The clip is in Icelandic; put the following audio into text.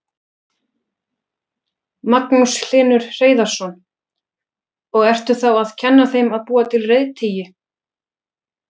Magnús Hlynur Hreiðarsson: Og ertu þá að kenna þeim að búa til reiðtygi?